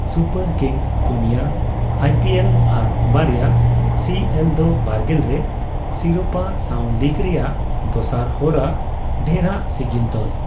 Super Kings ᱯᱩᱱᱭᱟᱹ IPL ᱟᱨ ᱵᱟᱨᱭᱟ ᱥᱤᱹᱮᱞᱹ ᱫᱚ ᱵᱟᱨᱜᱮᱞ ᱨᱮ ᱥᱤᱨᱳᱯᱟ ᱥᱟᱣ ᱞᱤᱠ ᱨᱮᱭᱟᱜ ᱫᱚᱥᱟᱨ ᱦᱚᱨᱟ ᱰᱷᱮᱨᱟᱜ ᱥᱤᱜᱤᱞ ᱫᱚᱞ ᱾